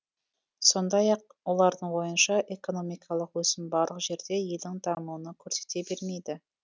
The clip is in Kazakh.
сондай ақ олардың ойынша экономикалық өсім барлық жерде елдің дамуын көрсете бермейді